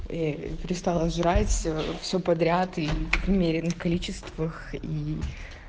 перестала жрать все все подряд и в умеренных количествах и